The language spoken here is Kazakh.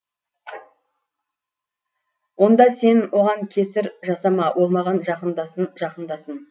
онда сен оған кесір жасама ол маған жақындасын жақындасын